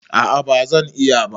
A'a bazan yi ba.